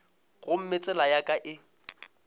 gomme tsela ya ka e